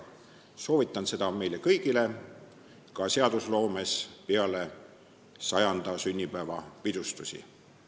Soovitan seda meile kõigile ka seadusloomes peale 100. sünnipäeva pidustusi.